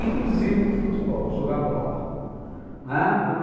Inclusive futebol, jogar bola, não é?